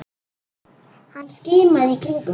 Hann skimaði í kringum sig.